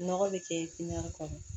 Nɔgɔ bɛ kɛ kɔnɔ